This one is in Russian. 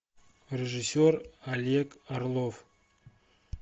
режиссер олег орлов